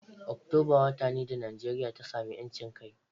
Oktoba wata ne da Nijeriya ta samu ‘yancin kai.